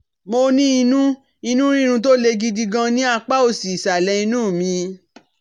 Mo ní inú inú rírun tó le gidi gan ní apá òsì ìsàlẹ̀ inú mi